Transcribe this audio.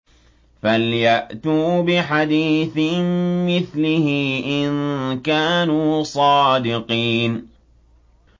فَلْيَأْتُوا بِحَدِيثٍ مِّثْلِهِ إِن كَانُوا صَادِقِينَ